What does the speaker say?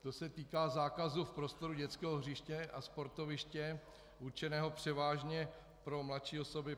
To se týká zákazu v prostoru dětského hřiště a sportoviště určeného převážně pro mladší osoby.